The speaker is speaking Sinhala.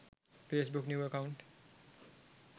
facebook new account